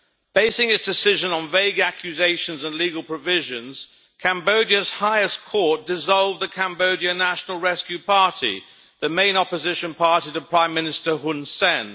Basing its decision on vague accusations and legal provisions, Cambodia's highest court dissolved the Cambodia National Rescue Party the main opposition party to Prime Minister Hun Sen.